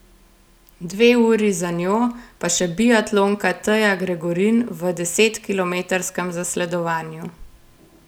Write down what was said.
Dve uri za njo pa še biatlonka Teja Gregorin v desetkilometrskem zasledovanju.